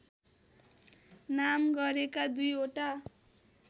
नाम गरेका दुईवटा